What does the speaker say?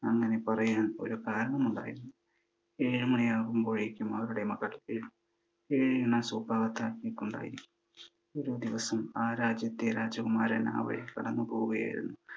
അങ്ങനെ പറയാൻ ഒരു കാരണമുണ്ടായിരുന്നു. ഏഴു മണിയാകുമ്പോഴേക്കും അവരുടെ മകൾ ഏഴിന് സുപ്രഭാതത്തിൽ എണീക്കുകയുണ്ടായി. ഒരു ദിവസം ആ രാജ്യത്തെ രാജകുമാരൻ ആ വഴി കടന്നു പോവുകയായിരുന്നു.